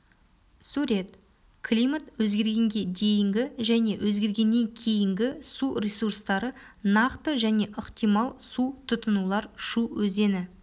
сурет климат өзгергенге дейінгі және өзгергеннен кейінгі су ресурстары нақты және ықтимал су тұтынулар шу өзені